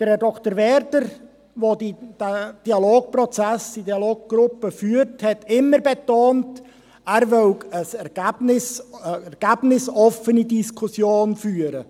Herr Dr. Werder, der den Dialogprozess, die Dialoggruppe führt, hat immer betont, er wolle eine ergebnisoffene Diskussion führen.